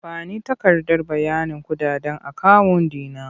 Ba ni takardar bayanin kuɗaɗen akawun ɗi na!